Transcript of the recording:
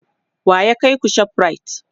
wa ya kaiku ShopRite?